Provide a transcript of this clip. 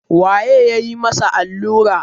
waye ya yi masa allura